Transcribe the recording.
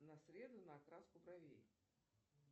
на среду на окраску бровей